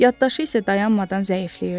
Yaddaşı isə dayanmadan zəifləyirdi.